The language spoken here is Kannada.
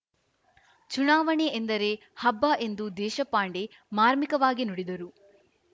ಚುನಾವಣೆ ಎಂದರೆ ಹಬ್ಬ ಎಂದು ದೇಶಪಾಂಡೆ ಮಾರ್ಮಿಕವಾಗಿ ನುಡಿದರು